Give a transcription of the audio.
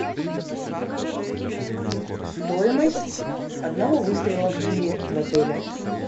стоимость одного выстрела в тире в отеле